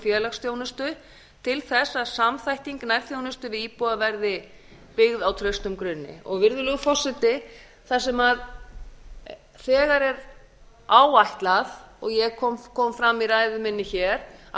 félagsþjónustu til þess að samþætting nærþjónustu við íbúa verði byggð á traustum grunni virðulegur forseti þar sem þegar er áætlað og kom fram í ræðu minni hér að